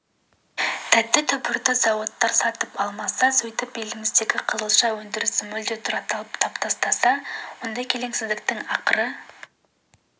тәтті түбірді зауыттар сатып алмаса сөйтіп еліміздегі қызылша өндірісін мүлде тұралатып тастаса осы келеңсіздіктің ақыры